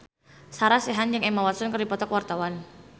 Sarah Sechan jeung Emma Watson keur dipoto ku wartawan